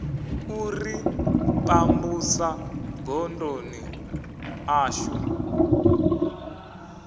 u ri pambusa godoni ḽashu